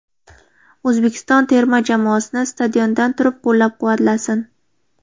O‘zbekiston terma jamoasini stadiondan turib qo‘llab-quvvatlasin”.